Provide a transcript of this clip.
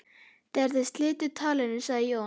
Þegar þeir slitu talinu sagði Jón